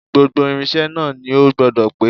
Gbogbo irinṣẹ́ náà ni ó gbọ́dọ̀ pé